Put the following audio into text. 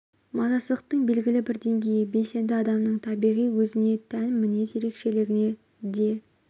мазасыздықтың белгілі бір деңгейі белсенді адамның табиғи өзіне тән мінез ерекшелігі де